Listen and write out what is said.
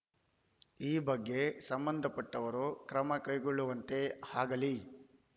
ಈ ಬಗ್ಗೆ ಸಂಬಂಧಪಟ್ಟವರು ಕ್ರಮ ಕೈಗೊಳ್ಳುವಂತೆ ಆಗಲಿ